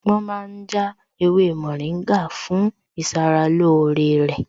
Wọn ma ń já ewé mòríngà fún ìṣaralóore rẹ̀